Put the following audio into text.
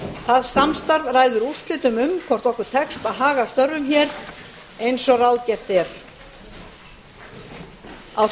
það samstarf ræður úrslitum um hvort okkur tekst að haga störfum eins og ráðgert er á